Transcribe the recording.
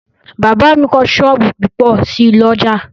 Bàbá mi kọ́ sọ́ọ̀bù púpọ̀ sí l'ọ́jà